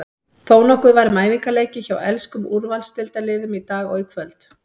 Þónokkuð var um æfingaleiki hjá enskum úrvalsdeildarliðum í dag og kvöld.